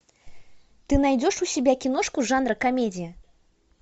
ты найдешь у себя киношку жанра комедия